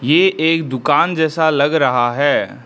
ये एक दुकान जैसा लग रहा है।